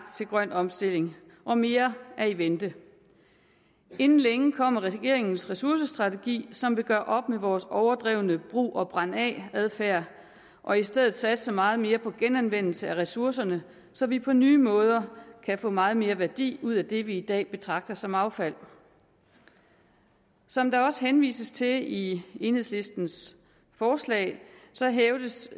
til grøn omstilling og mere er i vente inden længe kommer regeringens ressourcestrategi som vil gøre op med vores overdrevne brug og brænd af adfærd og i stedet satser meget mere på genanvendelse af ressourcerne så vi på nye måder kan få meget mere værdi ud af det vi i dag betragter som affald som der også henvises til i enhedslistens forslag hævdes